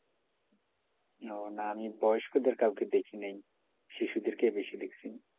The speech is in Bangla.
ও না আমি বয়স্কদের কাউকে দেখি নাই শিশুদেরকেই বেশি দেখছি,